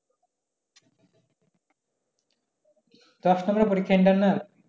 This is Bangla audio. দশ নাম্বারে পরীক্ষা internal